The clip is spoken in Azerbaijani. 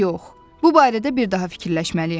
Yox, bu barədə bir daha fikirləşməliyəm.